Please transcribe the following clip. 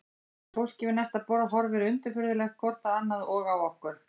Og fólkið við næsta borð horfir undirfurðulegt hvort á annað og á okkur.